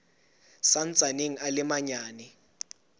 sa ntsaneng a le manyane